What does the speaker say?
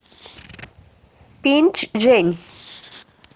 пинчжэнь